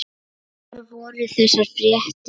Hvar voru þessar fréttir?